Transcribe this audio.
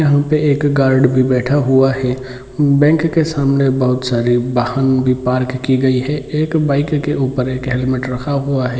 यहाँ पे एक गॉर्ड भी बैठा हुआ है बैंक के सामने बहुत सारे वाहन भी पार्क की गयी है एक बाइक के ऊपर एक हेलमेट रखा हुआ है।